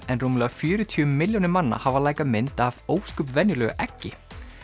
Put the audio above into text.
en rúmlega fjörutíu milljónir manna hafa mynd af ósköp venjulegu eggi